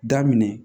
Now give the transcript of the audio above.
Daminɛ